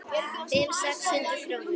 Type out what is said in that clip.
Fimm, sex hundruð krónur?